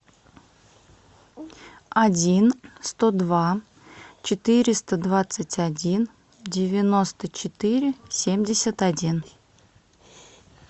один сто два четыреста двадцать один девяносто четыре семьдесят один